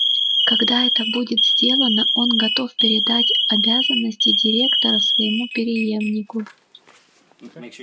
когда это будет сделано он готов передать обязанности директора своему преемнику